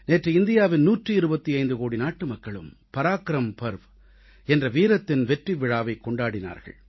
நேற்று இந்தியாவின் 125 கோடி நாட்டுமக்களும் பராக்கிரம் பர்வ் என்ற வீரத்தின் வெற்றிவிழாவைக் கொண்டாடினார்கள்